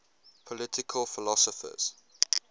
political philosophers